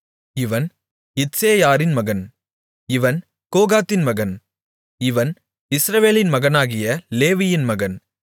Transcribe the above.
இவன் இத்சேயாரின் மகன் இவன் கோகாத்தின் மகன் இவன் இஸ்ரவேலின் மகனாகிய லேவியின் மகன்